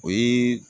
O ye